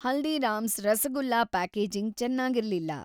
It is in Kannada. ಹಲ್ದೀರಾಮ್ಸ್ ರಸಗುಲ್ಲ ಪ್ಯಾಕೇಜಿಂಗ್‌ ಚೆನ್ನಾಗಿರ್ಲಿಲ್ಲ.